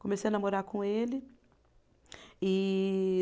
Comecei a namorar com ele. E